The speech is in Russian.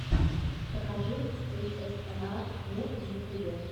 покажи эйэсэмар муд в ютюбе